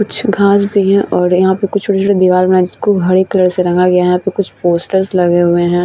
कुछ घास भी है और यहाँ पे छोटे-छोटे दिवार के हरे कलर से रंगा गया है। यहाँ पे कुछ पोस्टर लगे हुए है।